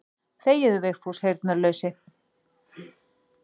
Þegiðu Vigfús heyrnarlausi.